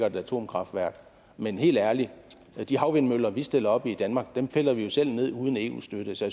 et atomkraftværk men helt ærligt de havvindmøller vi stiller op i danmark piller vi jo selv ned uden eu støtte så